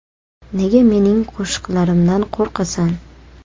Nega mening qo‘shiqlarimdan qo‘rqasan?!